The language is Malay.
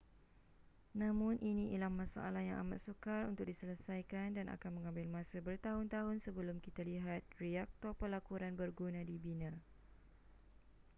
namun ini ialah masalah yang amat sukar untuk diselesaikan dan akan mengambil masa bertahun-tahun sebelum kita lihat reaktor pelakuran berguna dibina